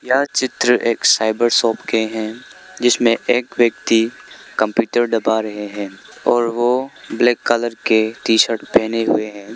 यह चित्र एक साइबर शॉप के हैं जिसमें एक व्यक्ति कंप्यूटर दबा रहे हैं और वो ब्लैक कलर के टी_शर्ट पहने हुए हैं।